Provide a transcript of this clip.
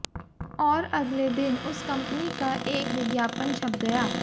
और अगले दिन उस कंपनी का एक विज्ञापन छप गया